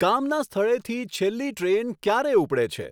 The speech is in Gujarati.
કામના સ્થળેથી છેલ્લી ટ્રેન ક્યારે ઉપડે છે